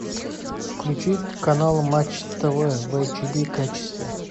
включить канал матч тв в эйч ди качестве